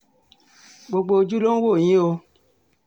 gbogbo ojú ló ń wò yín o